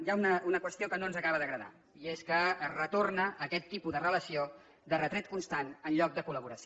hi ha una qüestió que no ens acaba d’agradar i és que retorna a aquest tipus de relació de retret constant en lloc de col·laboració